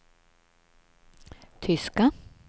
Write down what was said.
tyska